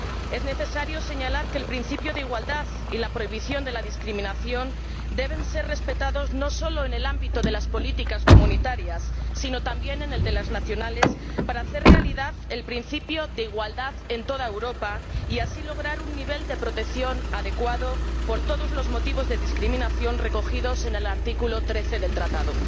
Es necesario señalar que el principio de igualdad y la prohibición de la discriminación deben ser respetados no solo en el ámbito de las políticas comunitarias, sino también en el de las nacionales, para hacer realidad el principio de igualdad en toda Europa y lograr así un nivel de protección adecuado contra todos los motivos de discriminación recogidos en el artículo 13 del Tratado.